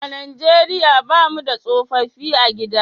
A Najeriya ba mu da tsofaffi a gida